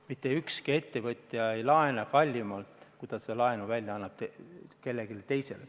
Mitte ükski ettevõtja ei laena kallimalt, kui ta seda raha välja annab kellelegi teisele.